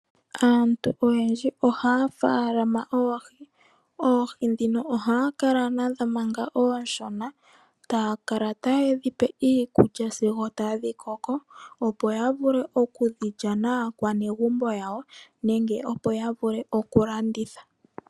Aantu oyendji one ya faalama oohi. Oohi ndhino ohaa kala nadho manga oonshona, taa kala ta ye dhi pe iikulya sigo tadhi koko, opo ya vule oku dhi lya naakwanegumbo yawo, nenge opo ya vule okulandithwa.